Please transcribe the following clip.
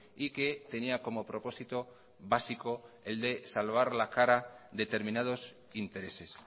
y que tenía como propósito básico el de salvar la cara determinados intereses